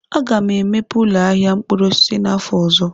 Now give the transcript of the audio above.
Aga m emepe ụlọ ahịa mkpụrụ osisi n'afọ ọzọ.